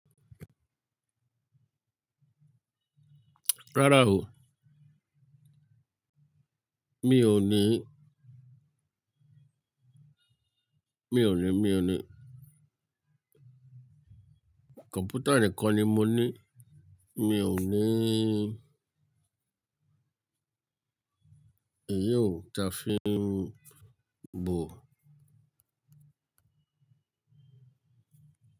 Rárá o. Mi ò ní. Mi ò ní, mi ò ní. Kọ̀mpútà nìkan ni mo ní. Mi ò ní èyí ò ta fún mi bo.